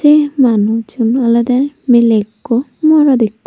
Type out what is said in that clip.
manuj igun olode mile ekku morot ekku.